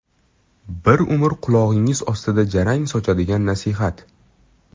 Bir umr qulog‘ingiz ostida jarang sochadigan nasihat?